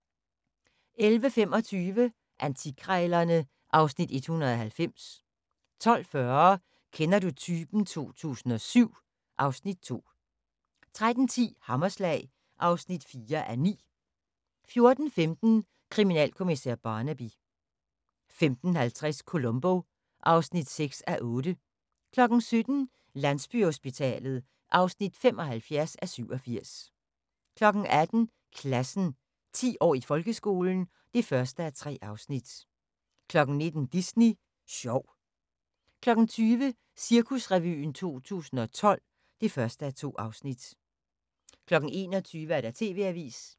11:25: Antikkrejlerne (Afs. 190) 12:40: Kender du typen 2007 (Afs. 2) 13:10: Hammerslag (4:9) 14:15: Kriminalkommissær Barnaby 15:50: Columbo (6:8) 17:00: Landsbyhospitalet (75:87) 18:00: Klassen – 10 år i folkeskolen (1:3) 19:00: Disney sjov 20:00: Cirkusrevyen 2012 (1:2) 21:00: TV-avisen